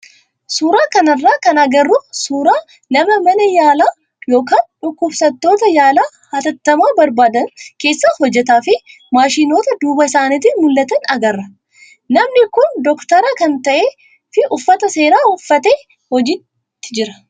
Suuraa kanarraa kan agarru suuraa nama mana yaalaa yookaan dhukkubsattoota yaala hatattamaa barbaadan keessa hojjatuu fi maashinoota duuba isaatiin mul'atan agarra. Namni kun doktora kan ta'ee fi uffata seeraa uffatee hojiitti jira.